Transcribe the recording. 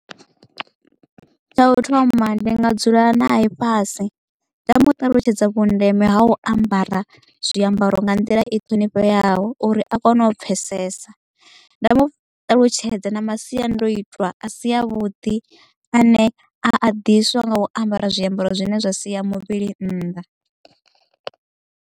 Tsha u thoma ndi nga dzula nae fhasi nda mu ṱalutshedza vhundeme ha u ambara zwiambaro nga nḓila i ṱhonifheaho uri a kone u pfesesa nda muṱalutshedza na masiandoitwa a si a vhuḓi ane a ḓiswa nga u ambara zwiambaro zwine zwa sia muvhili nnḓa.